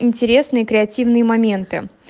интересные креативные моменты